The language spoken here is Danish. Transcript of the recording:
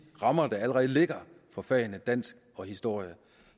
rammer der allerede ligger for fagene dansk og historie